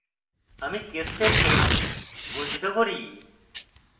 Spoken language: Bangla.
আমি case statement ঘোষিত করি